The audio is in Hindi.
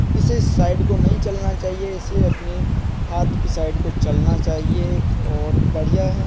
इसे इस साइड को नहीं चलना चाहिए इसे अपनी हाथ की साइड को चलना चहिए और बढ़िया है।